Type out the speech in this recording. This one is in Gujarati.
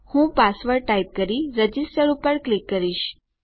હું પાસવર્ડ ટાઈપ કરી રજીસ્ટર પર ક્લિક કરીશ